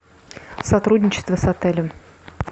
сотрудничество с отелем